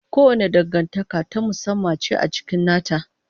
Kowace dangantaka ta musamman ce a cikin nata.